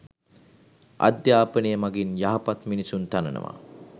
අධ්‍යාපනය මගින් යහපත් මිනිසුන් තනනවා